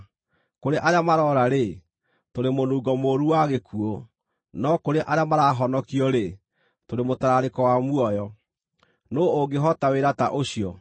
Kũrĩ arĩa maroora-rĩ, tũrĩ mũnungo mũũru wa gĩkuũ; no kũrĩ arĩa marahonokio-rĩ, tũrĩ mũtararĩko wa muoyo. Nũũ ũngĩhota wĩra ta ũcio?